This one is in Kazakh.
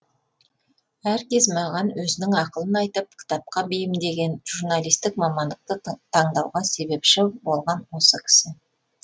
әркез маған өзінің ақылын айтып кітапқа бейімдеген журналистік мамандықты таңдауға себепші болған осы кісі